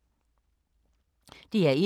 DR1